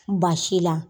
Baasi la